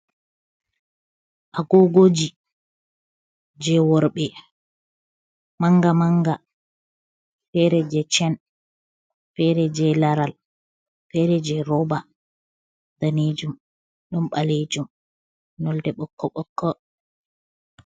Agogoji, jei worɓe manga manga feere jei chen, feere jei laral, feere jei rooba, daneejum, ɗon ɓaleejum nolde ɓokko ɓokko.